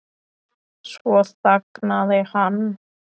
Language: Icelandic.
Svo þagnaði hann.